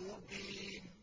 مُّبِينٍ